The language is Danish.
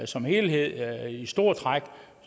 som helhed i store træk